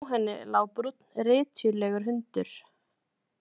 Hjá henni lá brúnn rytjulegur hundur.